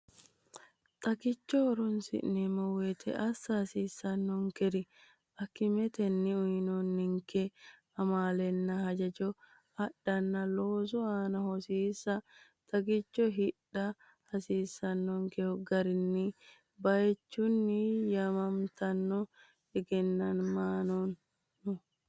Xagicho horoonsi’neemmo wote assa hasiissannonkeri: Akimetenni uyinanninke amaalenna hajajo adhanna loosu aana hosiisa Xagicho hidha hasiissannonkehu gari bayichinni, yaamamatenni egennamanno?